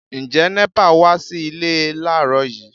Ǹjẹ́ NEPA wá sí ilé láàrọ́ yìí?